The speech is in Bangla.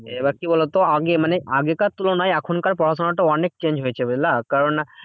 এবার কি বলতো? আগে মানে আগেকার তুলনায় এখনকার পড়াশোনাটা অনেক change হয়েছে বুঝলা? কারণ